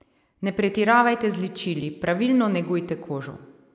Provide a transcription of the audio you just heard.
Ne pretiravajte z ličili, pravilno negujte kožo.